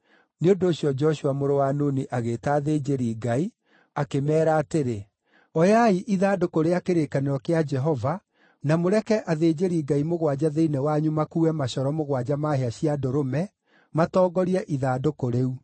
Nĩ ũndũ ũcio, Joshua mũrũ wa Nuni agĩĩta athĩnjĩri-Ngai, akĩmeera atĩrĩ, “Oyai ithandũkũ rĩa kĩrĩkanĩro kĩa Jehova, na mũreke athĩnjĩri-Ngai mũgwanja thĩinĩ wanyu makuue macoro mũgwanja ma hĩa cia ndũrũme, matongorie ithandũkũ rĩu.”